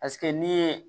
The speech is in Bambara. n'i ye